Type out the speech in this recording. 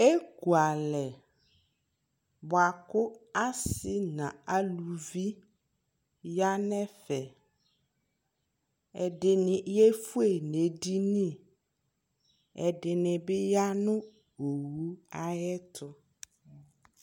Ekualɛ bua kʋ asi nʋ alʋvi ya nʋ ɛfɛ Ɛdi ni yefue nʋ edini ɛdini bi ya nʋ owu ayʋɛtʋ